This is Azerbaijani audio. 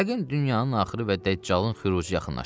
Yəqin dünyanın axırı və Dəccalın xürucu yaxınlaşıb.